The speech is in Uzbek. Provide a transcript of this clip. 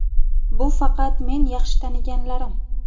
Bu faqat men yaxshi taniganlarim.